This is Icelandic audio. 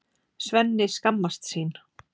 Svenni skammast sín.